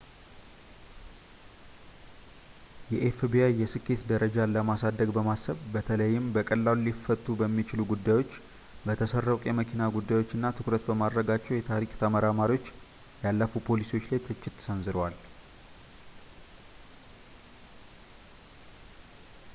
የኤፍቢአይ የስኬት ደረጃን ለማሳደግ በማሰብ በተለይም በቀላሉ ሊፈቱ በሚችሉ ጉዳዮች በተሰረቁ የመኪና ጉዳዮች ላይ ትኩረት በማድረጋቸው የታሪክ ተመራማሪዎች ያለፉ ፖሊሲዎች ላይ ትችት ሰንዝረዋል